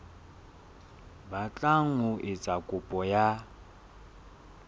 batlang ho etsa kopo ya